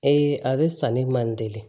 a bɛ sanni man deli